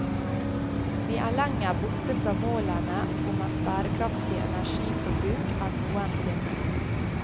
Vi er lenger borte fra målene om et bærekraftig energiforbruk enn noensinne.